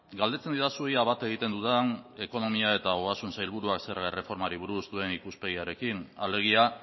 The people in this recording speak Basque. galdetzen didazu ea bat egiten dudan ekonomia eta ogasun sailburuak zerga erreformari buruz duen ikuspegiarekin alegia